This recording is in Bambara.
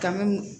Kan ga